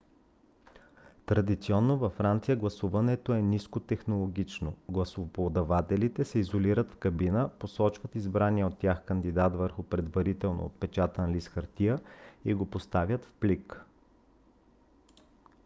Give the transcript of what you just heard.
традиционно във франция гласуването е нискотехнологично: гласоподавателите се изолират в кабина посочват избрания от тях кандидат върху предварително отпечатан лист хартия и го поставят в плик